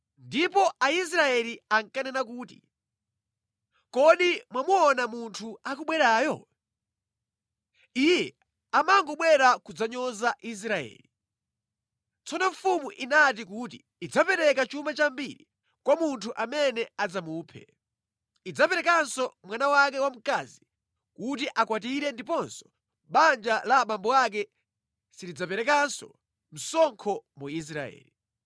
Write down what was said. Ndipo Aisraeli ankanena kuti, “Kodi mwamuona munthu akubwerayo? Iye amangobwera kudzanyoza Israeli. Tsono mfumu inati kuti idzapereka chuma chambiri kwa munthu amene adzamuphe. Idzaperekanso mwana wake wamkazi kuti amukwatire ndiponso banja la abambo ake silidzaperekanso msonkho mu Israeli.”